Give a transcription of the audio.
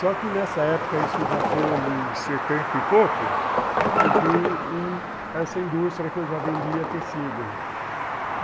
Só que nessa época, isso já foi em setenta e pouco, eu com com essa indústria que eu já vendia tecido.